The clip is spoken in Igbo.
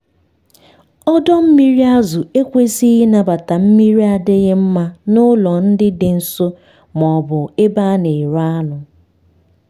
ọdọ mmiri azụ ekwesighi ịnabata mmiri adịghị mma n'ụlọ ndị dị nso ma ọ bụ ebe a na-ere anụ.